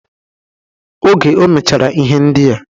Oge o mechara ihe ndịa